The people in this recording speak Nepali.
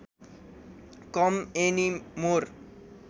com any more